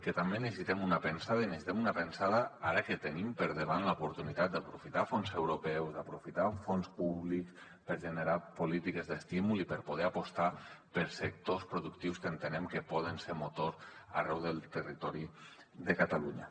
que també necessitem una pensada i necessitem una pensada ara que tenim per davant l’oportunitat d’aprofitar fons europeus d’aprofitar fons públics per generar polítiques d’estímul i per poder apostar per sectors productius que entenem que poden ser motor arreu del territori de catalunya